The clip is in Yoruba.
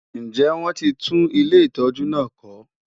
Ǹjẹ́ wọ́n ti tún ilé ìtọ́jú náà kọ́?